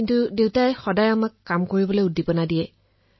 কিন্তু মোৰ দেউতাই মোক কাম কৰিবলৈ উৎসাহ যোগাইছে